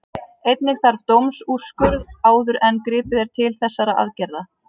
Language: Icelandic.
Einnig þarf dómsúrskurð áður en gripið er til þessara aðgerða.